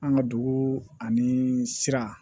An ka dugu ani sira